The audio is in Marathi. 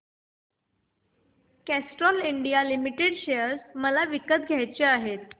कॅस्ट्रॉल इंडिया लिमिटेड शेअर मला विकत घ्यायचे आहेत